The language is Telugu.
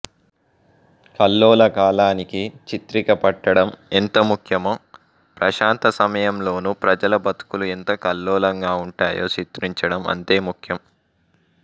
కల్లోల కాలానికి చిత్రికపట్టడం ఎంత ముఖ్యమో ప్రశాంత సమయంలోనూ ప్రజల బతుకులు ఎంత కల్లోలంగా ఉంటాయో చిత్రించడం అంతే ముఖ్యం